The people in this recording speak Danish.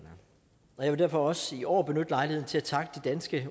jeg vil derfor også i år benytte lejligheden til at takke de danske